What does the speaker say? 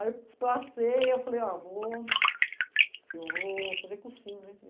Aí eu passei, eu falei, ó, vou... Eu vou fazer cursinho, né?